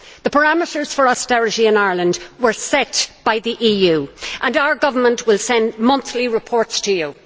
The parameters for austerity in Ireland were set by the EU, and our government will send monthly reports to you.